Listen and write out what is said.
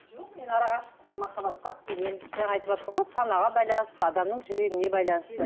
жоқ мен арақашықтық махабатқа сенемін жаңа айтыватыр ғой санаға байланысты адамның жүрегіне байланысты